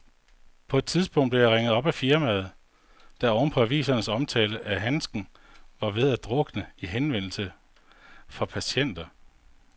På et tidspunkt blev jeg ringet op af firmaet, der oven på avisens omtale af handsken var ved at drukne i henvendelser fra patienter.